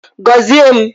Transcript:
Gozie m!